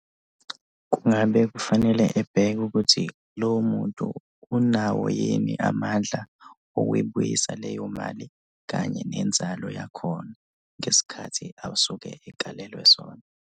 Kungabe kufanele ebheke ukuthi lowo muntu unawo yini amandla okuyibuyisa leyo mali, kanye nenzalo yakhona ngesikhathi asuke ekalelwe sona.